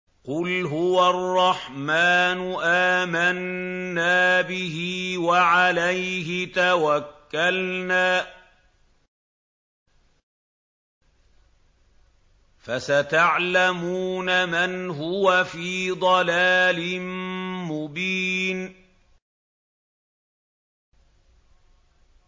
قُلْ هُوَ الرَّحْمَٰنُ آمَنَّا بِهِ وَعَلَيْهِ تَوَكَّلْنَا ۖ فَسَتَعْلَمُونَ مَنْ هُوَ فِي ضَلَالٍ مُّبِينٍ